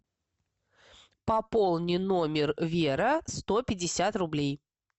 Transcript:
пополни номер вера сто пятьдесят рублей